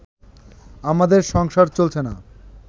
আমাদের সংসার চলছে না